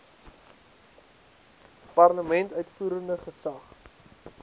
parlement uitvoerende gesag